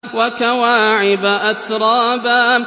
وَكَوَاعِبَ أَتْرَابًا